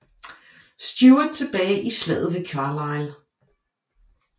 Stuart tilbage i Slaget ved Carlisle